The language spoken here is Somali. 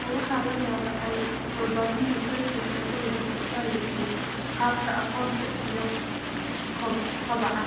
Oo waxaa la daabacay waabaahinta British Ecological Society - Qaabka Aqoonta iyo Kobaca (MEE).